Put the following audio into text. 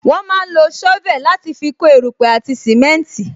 Wọn máa ń lo sovel láti fi kó erupe àti simenti